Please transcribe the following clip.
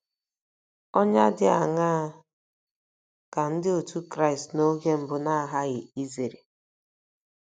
Ọnyà dị aṅaa ka Ndị Otú Kristi oge mbụ na-aghaghị izere?